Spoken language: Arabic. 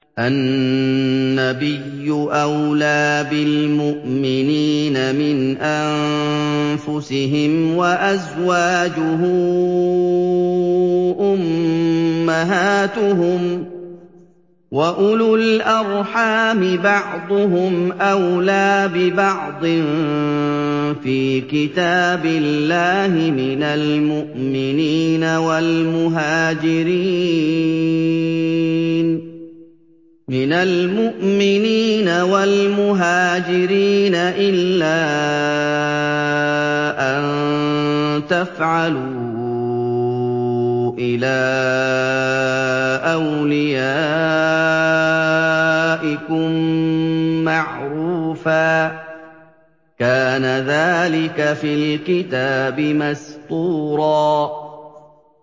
النَّبِيُّ أَوْلَىٰ بِالْمُؤْمِنِينَ مِنْ أَنفُسِهِمْ ۖ وَأَزْوَاجُهُ أُمَّهَاتُهُمْ ۗ وَأُولُو الْأَرْحَامِ بَعْضُهُمْ أَوْلَىٰ بِبَعْضٍ فِي كِتَابِ اللَّهِ مِنَ الْمُؤْمِنِينَ وَالْمُهَاجِرِينَ إِلَّا أَن تَفْعَلُوا إِلَىٰ أَوْلِيَائِكُم مَّعْرُوفًا ۚ كَانَ ذَٰلِكَ فِي الْكِتَابِ مَسْطُورًا